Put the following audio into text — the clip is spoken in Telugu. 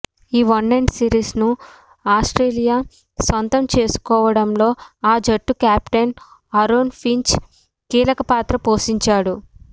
ఈ వన్డే సిరిస్ను ఆస్ట్రేలియా సొంతం చేసుకోవడంలో ఆ జట్టు కెప్టెన్ ఆరోన్ ఫించ్ కీలకపాత్ర పోషించాడు